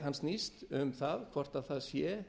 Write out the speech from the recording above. hann snýst um það hvort það sé